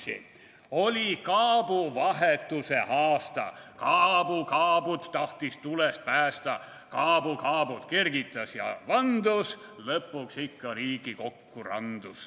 / Oli kaabuvahetuse aasta, / kaabu kaabut tahtis tulest päästa, / kaabu kaabut kergitas ja vandus, / lõpuks ikka Riigikokku randus.